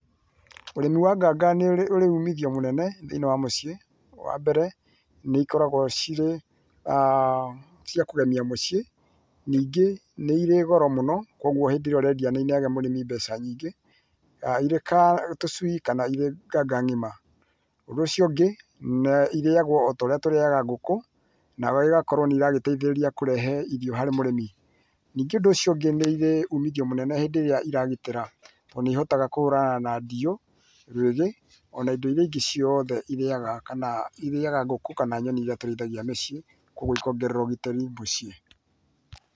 Ũrĩmi wa nganga nĩũríĩ ũrĩ ũmithio mũnene thĩiniĩ wa mũciĩ, wambere nĩikoragwo cirĩ, cia kũgĩmia muciĩ ningĩ nĩirĩ goro mũno kwoguo hĩndĩrĩa ũrĩndia nĩ inĩaga mũrĩmi mbeca nyingĩ irĩ ka tũcũi kana irĩ nganga ng’ima, ũndũ ũcio ũngĩ nĩ irĩagũo ũtoũrĩa tũrĩaga ngũkũ nayo igakũrũo nĩragĩtĩithĩrĩria kũrĩhĩ irio harĩ mũrĩmi, ningĩ ũndũ ũcio ũngĩ nĩirĩ ũmũthio mũnene hĩndĩrĩa iragitĩra tondũ ñĩihotaga kũhũrana na ndiyo, rwege ũna indo iria ingĩ ciothe irĩaga kana irĩaga ngũkũ kana nyoni iria tũrĩithagia mũciĩ.